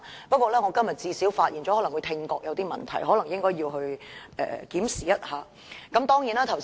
不過，我今天最少發現了他的聽覺可能有些問題，應該檢查一下。